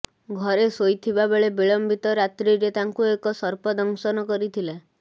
ଘରେ ଶୋଇଥିବାବେଳେ ବିଳମ୍ବିତ ରାତ୍ରିରେ ତାଙ୍କୁ ଏକ ସର୍ପ ଦଂଶନ କରିଥିଲା